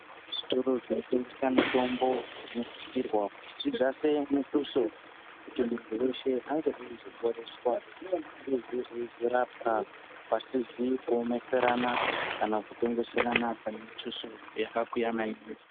Zvitoro zvinotengesa mitombo dzinosisirwa kuti zvidzisire mutuso kuti munhu weshe ange eizoporeswa inozopeisira yeizorapa pasizipo mheisirana kana kutengesa pane mutuso yakakwiya maningisa.